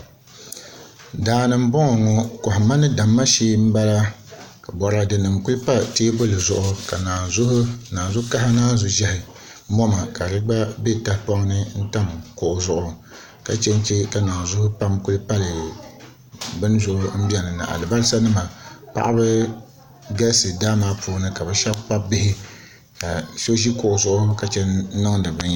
Daani n boŋo ŋo kohamma ni damma shee n bala ka boraadɛ nim ku pali teebuli zuɣu ka naazuu kaha mini naazu ʒiɛhi ka di gba bɛ tahapoŋ ni n tam kuɣu zuɣu ka chɛnchɛ ka naanzuu pam ku pali bini zuɣu n biɛni na ni alibarisa nima paɣaba galisi daa maa puuni ka bi shab kpabi bihi